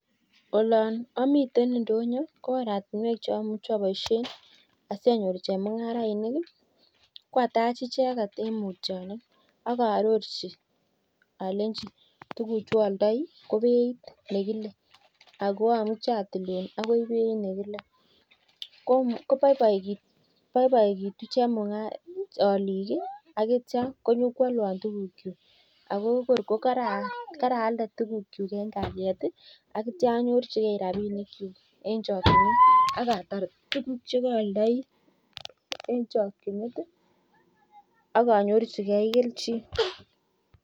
Ko atach icheket akaarorchi akono beit alechi ataa nii akamuchii atilun sikobaibait alik ako kaalde tuguk eng kaliet